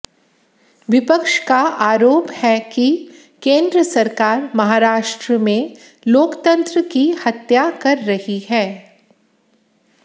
विपक्ष का आरोप है कि केंद्र सरकार महाराष्ट्र में लोकतंत्र की हत्या कर रही है